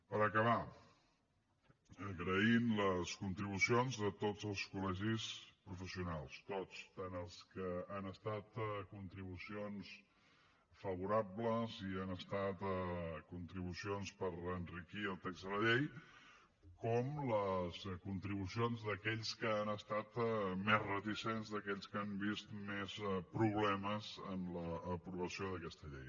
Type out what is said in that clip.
per acabar agraïm les contribucions de tots els col·legis professionals tots tant els que han estat contribucions favorables i han estat contribucions per enriquir el text de la llei com les contribucions d’aquells que han estat més reticents d’aquells que han vist més problemes en l’aprovació d’aquesta llei